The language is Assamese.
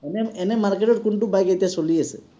এনে এনেই market ত কোনটো bike এতিয়া চলি আছে?